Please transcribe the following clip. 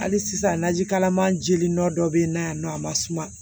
Hali sisan naji kalama jeli dɔ be yen nɔ yan nɔ a ma suma